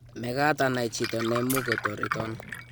mekat anai chito ne mukutoreton